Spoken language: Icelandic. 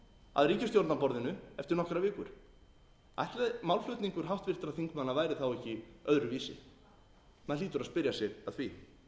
að ríkisstjórnarborðinu eftir nokkrar vikur ætli málflutningur háttvirtra þingmanna væri þá ekki öðruvísi maður hlýtur að spyrja sig að því annars vil